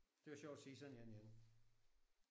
Det var sjovt at se sådan en igen